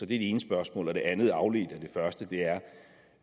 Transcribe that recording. det ene spørgsmål det andet spørgsmål afledt af det første